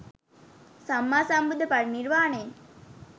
සම්මා සම්බුද්ධ පරිනිර්වාණයෙන්